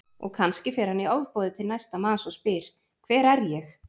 Og kannski fer hann í ofboði til næsta manns og spyr Hver er ég?